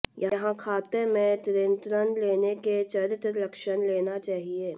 यह खाते में ऋण लेने के चरित्र लक्षण लेना चाहिए